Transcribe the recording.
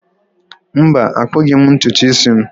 Mba, akpughi m ntutu isi m.